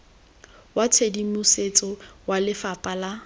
wa tshedimosetso wa lefapha la